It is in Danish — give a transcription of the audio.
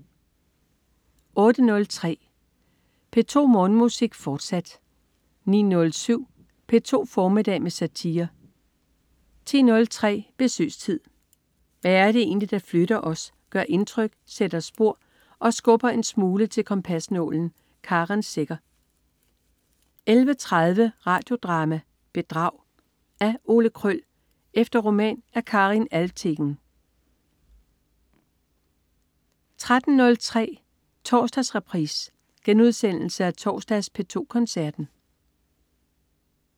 08.03 P2 Morgenmusik, fortsat 09.07 P2 formiddag med satire 10.03 Besøgstid. Hvad er det egentlig, der flytter os, gør indtryk, sætter spor og skubber en smule til kompasnålen? Karen Secher 11.30 Radio Drama: Bedrag. Af Ole Kröll efter roman af Karin Alvtegen 13.03 Torsdagsreprise. Genudsendelse af torsdags P2 Koncerten